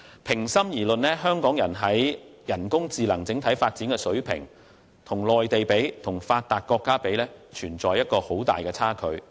平心而論，香港在人工智能方面的整體發展，與內地及發達國家的水平相比，仍有很大差距。